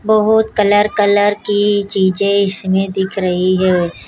बहोत colour colour की चीजे इसमें दिख रही है।